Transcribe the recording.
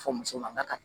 Fɔ muso man ka taa